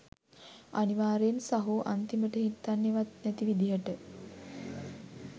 අනිවාර්යෙන් සහෝ අන්තිමට හිතන්නෙවත් නැති විදිහට